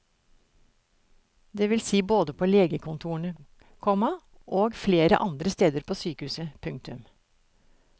Det vil si både på legekontorene, komma i behandlingsrommene og flere andre steder på sykehuset. punktum